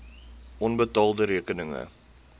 onbetaalde rekeninge